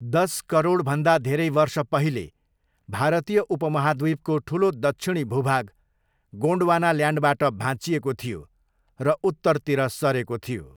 दस करोडभन्दा धेरै वर्ष पहिले भारतीय उपमहाद्वीपको ठुलो दक्षिणी भूभाग, गोन्डवानाल्यान्डबाट भाँचिएको थियो र उत्तरतिर सरेको थियो।